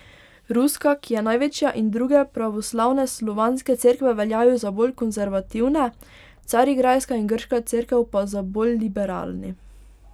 Ruska, ki je največja in druge pravoslavne slovanske cerkve veljajo za bolj konservativne, Carigrajska in grška cerkev pa za bolj liberalni.